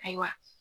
Ayiwa